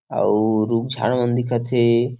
अउ रुख-झाड़ मन दिखत हे।